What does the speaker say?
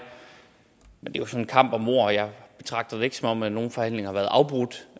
jo sådan en kamp om ord betragter det ikke som om at nogen forhandlinger har været afbrudt